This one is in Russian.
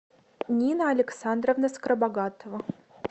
нина александровна скоробогатова